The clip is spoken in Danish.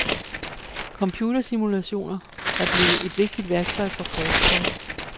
Computersimulationer er blevet et vigtigt værktøj for forskere.